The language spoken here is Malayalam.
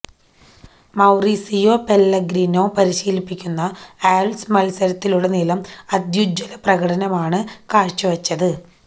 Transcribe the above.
മൌറിസിയോ പെല്ലെഗ്രിനോ പരിശീലിപ്പിക്കുന്ന ആല്വ്സ് മത്സരത്തിലുടനീളം അത്യുജ്വല പ്രകടനമാണ് കാഴ്ചവച്ചത്